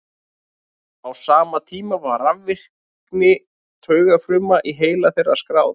á sama tíma var rafvirkni taugafruma í heila þeirra skráð